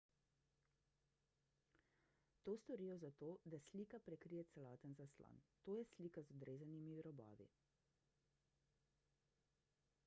to storijo zato da slika prekrije celoten zaslon to je slika z odrezanimi robovi